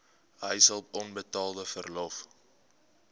huishulp onbetaalde verlof